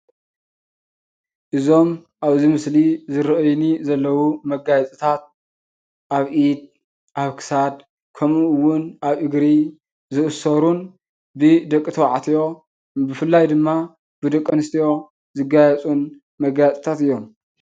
እዞም አብ ምስሊ ዝረአይኒ ዘለው መጋየፅታት አብ ኢድ አብ ክሳድ ከምኡ እውን አብ እግሪ ዝእሰሩን ብቂ ተባዕትዮን ብፍላይ ድማ ደቂ አንስትዮን ዝጋየፁን መጋየፅታት እዮም ፡፡